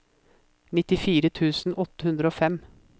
nittifire tusen åtte hundre og fem